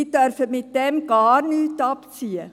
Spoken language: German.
Diese dürfen hiermit gar nichts abziehen.